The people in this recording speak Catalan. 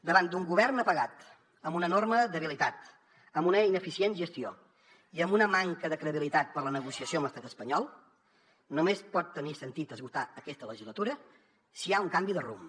davant d’un govern apagat amb una enorme debilitat amb una ineficient gestió i amb una manca de credibilitat per a la negociació amb l’estat espanyol només pot tenir sentit esgotar aquesta legislatura si hi ha un canvi de rumb